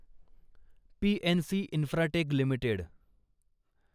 PNC Infratech limited